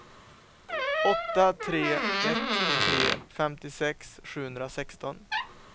åtta tre ett tre femtiosex sjuhundrasexton